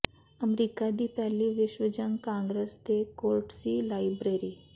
America ਦੀ ਪਹਿਲੀ ਵਿਸ਼ਵ ਜੰਗ ਕਾਂਗਰਸ ਦੇ ਕੋਰਟਸੀ ਲਾਈਬ੍ਰੇਰੀ